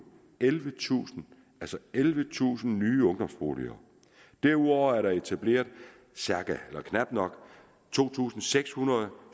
ellevetusind ellevetusind nye ungdomsboliger derudover er der etableret knap to tusind seks hundrede